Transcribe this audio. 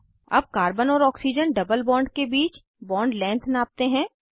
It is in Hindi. अब कार्बन और ऑक्सीजन डबल बॉन्ड के बीच बॉन्ड लेंथ नापते हैं